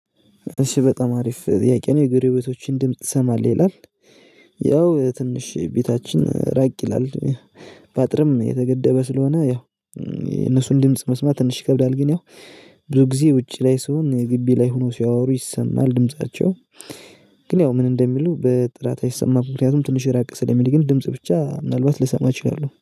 እሺ በጣም አሪፍ ጥያቄ ነው የጎረቤቶችህን ድምጽ ትሰማለህ ይላል? ያው ትንሽ ቤታችን ራቅ ይላል። በአጥርም የተገደበ ስለሆነ ያው የነሱን ድምጽ መስማት ትንሽ ይከብዳል ግን ያው ብዙ ጊዜ ውጪ ላይ ስሆን ግቢ ላይ ሆነው ሲያወሩ ይሰማል ድምፃቸው። ግን ያው ምን እንደሚሉ በጥራት አይሰማም። ምክንያቱም ትንሽ ራቅ ስለሚል ግን ድምጽ ብቻ ምናልባት ልሰማ እችላለሁ